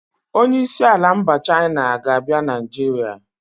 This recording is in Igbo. Onyeisi ala mba China ga-abịa Nigeria